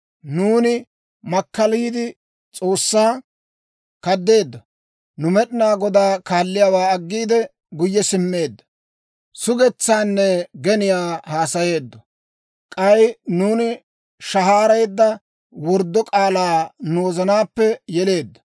Nuuni makkaliide, S'oossaa kaddeeddo; nu Med'inaa Godaa kaalliyaawaa aggiide, guyye simmeeddo; sugetsaanne geniyaa haasayeeddo. K'ay nuuni shahaareedda worddo k'aalaa nu wozanaappe yeleeddo.